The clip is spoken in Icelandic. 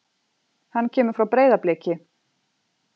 Hann kemur frá Breiðabliki.